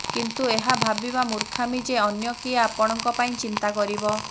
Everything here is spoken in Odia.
କିନ୍ତୁ ଏହା ଭାବିବା ମୁର୍ଖାମୀ ଯେ ଅନ୍ୟ କିଏ ଆପଣଙ୍କ ପାଇଁ ଚିନ୍ତା କରିବ